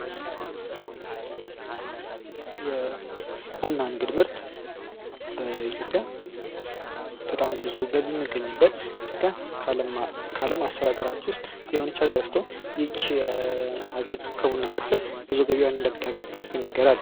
የቡና ንግድ ምርት በኢትዮጵያ በጣም ብዙ ገቢ ሚገኝበት ኢትዮጵያ ከዓለም አስር ሀገራት ውስጥ የሆነች ሀገር ስትሆን ይህቺ ሀገር ከቡና ምርትም ብዙ ገቢዋን እንደምታገኝ ይነገራል ።